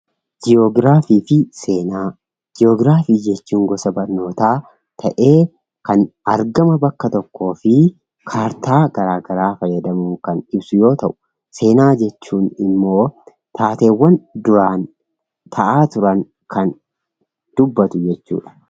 Ji'oograafii fi seenaa. Ji'ograafii jechuun gosa barnootaa ta'ee kan argama bakka tokkoo fi kaartaa garaa garaa fayyadamuun kan ibsu yoo ta'u seenaa jechuun immoo taateewwan duraan ta'aa turan kan dubbatu jechuudha